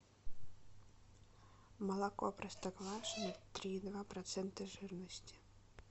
молоко простоквашино три и два процента жирности